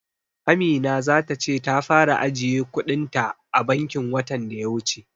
Amina za ta ce ta fara ajiye kuɗin ta a bankin watan daya wuce.